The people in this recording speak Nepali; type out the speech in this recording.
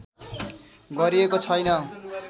गरिएको छैन